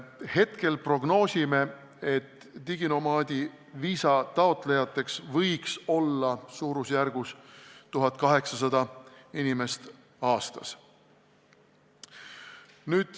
Hetkel prognoosime, et diginomaadi viisa taotlejaid võiks olla umbes 1800 inimest aastas.